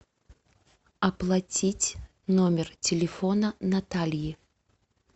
оплатить номер телефона натальи